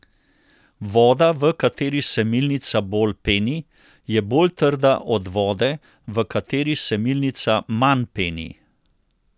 Voda, v kateri se milnica bolj peni, je bolj trda od vode, v kateri se milnica manj peni.